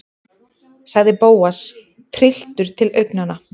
sagði Bóas, trylltur til augnanna.